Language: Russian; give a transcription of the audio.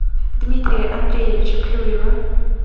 дмитрия андреевича клюева